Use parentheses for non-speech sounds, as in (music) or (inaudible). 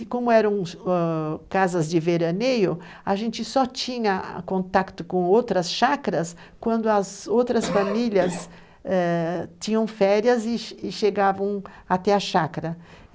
E como eram ãh casas de veraneio, a gente só tinha contato com outras chácaras quando as outras (coughs) famílias eh tinham férias e chegavam até a chácara.